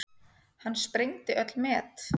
Hann sprengdi öll met.